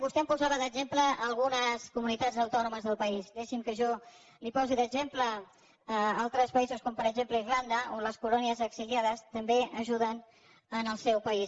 vostè em posava d’exemple algunes comunitats autònomes del país deixi’m que jo li posi d’exemple altres països com per exemple irlanda on les colònies exiliades també ajuden en el seu país